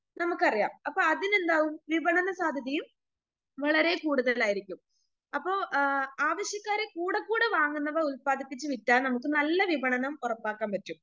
നമുക്കറിയാം അപ്പൊ അതിനെന്താകും വിപണന സാധ്യതയും വളരെ കൂടുതലായിരിക്കും അപ്പൊ ആ ആവശ്യക്കാര്കൂടെക്കൂടെ വാങ്ങുന്നത് ഉത്പാദിപ്പിച്ച് വിറ്റാൽ അത് നമുക്ക് നല്ല വിപണനം ഉറപ്പാക്കാൻ സാധിക്കും.